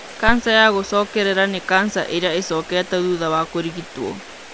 kanca ya gũcokerera nĩ kanca ĩrĩa ĩcokete thutha wa kũrigitwo.